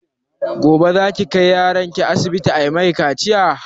Gobe za ki kai yaron ki asibiti ayi mai kaciya?